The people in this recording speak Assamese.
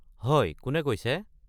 হয়। কোনে কৈছে?